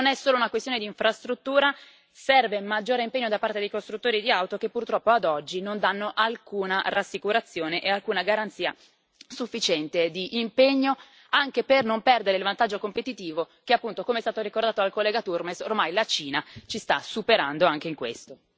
Non è solo una questione di infrastruttura serve maggiore impegno da parte dei costruttori di auto che purtroppo, ad oggi, non danno alcuna rassicurazione e alcuna garanzia sufficiente di impegno, anche per non perdere il vantaggio competitivo poiché appunto, come è stato ricordato dal collega Turmes, ormai la Cina ci sta superando anche in questo.